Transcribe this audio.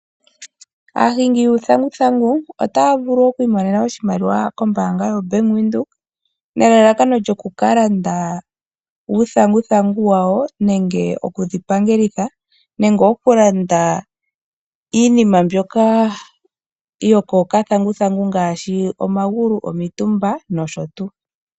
Aahingi yuuthanguthangu otaya vulu okwiimonena oshimaliwa kombaanga yaNedbank nelalakano lyokukalanda uuthanguthangu wawo nenge okuwu pangelitha nenge okulanda iinima mbyoka yoko okathanguthangu ngaashi omagulu , omitumba nosho tuu.